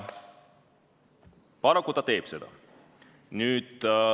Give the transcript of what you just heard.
Paraku ta teeb seda.